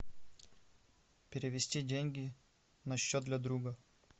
перевести деньги на счет для друга